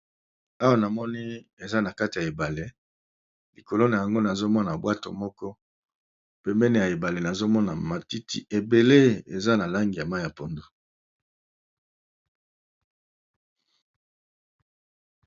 Awa namoni eza nakati ya ebale likolo na yango nazomona bwato na pembeni nazomona matiti ebele eza na langi ya mayi ya pondu.